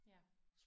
Ja